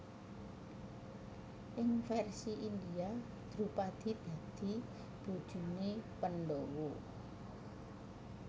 Ing versi India Drupadi dadi bojone Pandhawa